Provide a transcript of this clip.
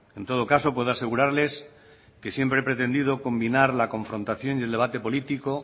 en todo caso puedo asegurarles que siempre he pretendido combinar la confrontación y el debate político